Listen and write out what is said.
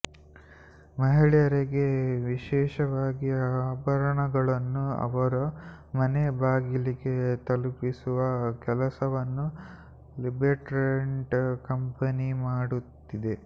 ಮಹಿಳೆಯರಿಗೆ ವಿಶೇಷವಾಗಿ ಆಭರಣಗಳನ್ನು ಅವರ ಮನೆ ಬಾಗಿಲಿಗೆ ತಲುಪಿಸುವ ಕೆಲಸವನ್ನು ಲಿಬೆರೆಂಟ್ ಕಂಪೆನಿ ಮಾಡುತ್ತಿದೆ